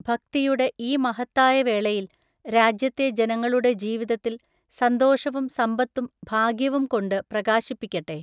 ഭക്തിയുടെഈ മഹത്തായ വേളയിൽ രാജ്യത്തെ ജനങ്ങളുടെ ജീവിതത്തിൽ സന്തോഷവും സമ്പത്തും ഭാഗ്യവും കൊണ്ട് പ്രകാശിപ്പിക്കട്ടെ.